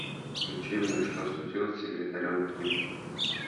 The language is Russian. включи мне что случилось с секретарем ким